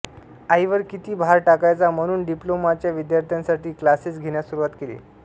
आईवर किती भार टाकायचा म्हणून डिप्लोमाच्या विद्यार्थ्यांसाठी क्लाॅसेस घेण्यास सुरवात केली